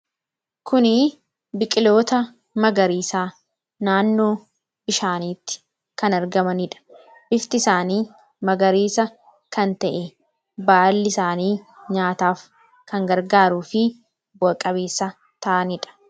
Kunii biqiloota magariisa naannoo bishaaniitti kan argamanidha. Bifti isaanii magariisa kan ta'e, baalli isaanii nyaataaf kan gargaaruufi bu'a qabeessa ta'anidha.